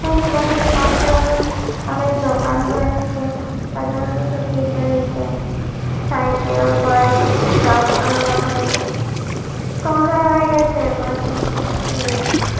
এখানে বাজারের পাশে আরো অনেক দোকান রয়েছে। বাজারের মধ্যে সাইকেল বাইক গা আ রাখা রয়েছে ।সন্ধ্যে বেলায় গেছে বাজারটি-তে ।